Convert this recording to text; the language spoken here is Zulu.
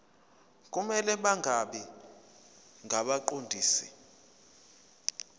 kumele bangabi ngabaqondisi